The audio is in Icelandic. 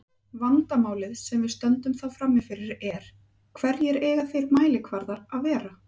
Vandamálið sem við stöndum þá frammi fyrir er: Hverjir eiga þeir mælikvarðar að vera?